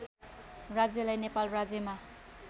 राज्यलाई नेपाल राज्यमा